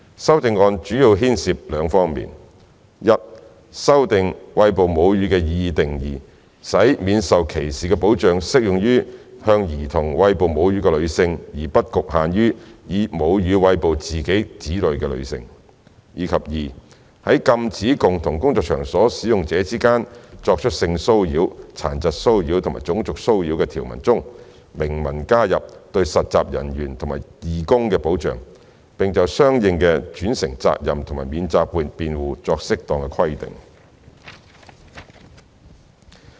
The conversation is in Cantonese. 修正案主要牽涉兩方面：一修訂"餵哺母乳"的擬議定義，使免受歧視的保障適用於向兒童餵哺母乳的女性，而不局限於以母乳餵哺自己的子女的女性；及二在禁止共同工作場所使用者之間作出性騷擾、殘疾騷擾及種族騷擾的條文中，明文加入對實習人員及義工的保障，並就相應的轉承責任和免責辯護作適當的規定。